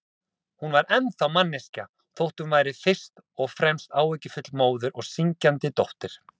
Hún var ennþá manneskja, þótt hún væri fyrst og fremst áhyggjufull móðir og syrgjandi dóttir.